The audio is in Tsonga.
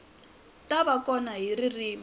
ta va kona hi ririmi